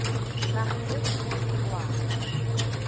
nageng e kumo e tswang